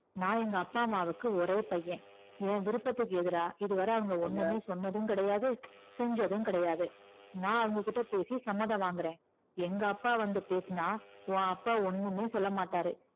நான் எங்க அப்பா அம்மாவுக்கு ஒரே பையன் என் விருப்பத்துக்கு எதிரா இதுவரை அவங்க ஒண்ணுமே சொன்னதும் கிடையாது செஞ்சதும் கிடையாது நான் அவங்க கிட்ட பேசி சம்மதம் வாங்குறேன் எங்க அப்பா வந்து பேசுனா உன் அப்பா ஒண்ணுமே சொல்ல மாட்டாரு